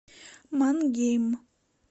мангейм